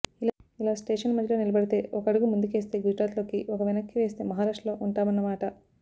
ఇలా స్టేషన్ మధ్యలో నిలబడితే ఒక అడుగు ముందుకేస్తే గుజరాత్లోకి ఒక వెనక్కి వేస్తే మహారాష్ట్రలో ఉంటామన్నమాట